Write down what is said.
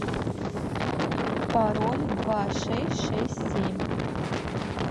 пароль два шесть шесть семь